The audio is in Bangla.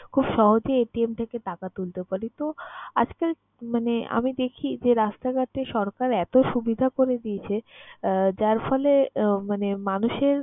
খুব সহজেই থেকে টাকা তুলতে পারি। তো, আজকাল মানে আমি দেখি যে রাস্তাঘাটে সরকার এতো সুবিধা করে দিয়েছে আহ যার ফলে আহ মানে মানুষের